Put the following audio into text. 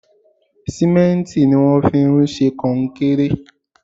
Símẹ́ǹtì ni wón fi ń ṣe konkéré.